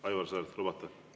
Aivar Sõerd, kas lubate?